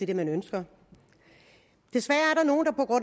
det man ønsker desværre